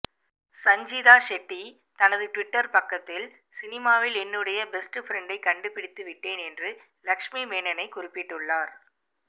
சஞ்சிதா ஷெட்டி தனது ட்விட்டர் பக்கத்தில் சினிமாவில் என்னுடைய பெஸ்ட்ஃப்ரண்டை கண்டுபிடித்து விட்டேன் என்று லக்ஷ்மி மேனனனை குறிப்பிட்டுள்ளார்